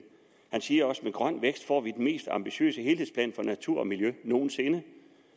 han siger også med grøn vækst får vi den mest ambitiøse helhedsplan for natur og miljø nogen sinde